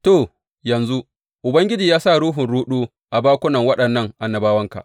To yanzu, Ubangiji ya sa ruhun ruɗu a bakunan waɗannan annabawanka.